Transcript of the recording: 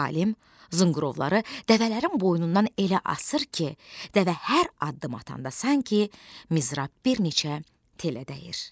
Alim zınqırovları dəvələrin boynundan elə asır ki, dəvə hər addım atanda sanki mizrab bir neçə telə dəyir.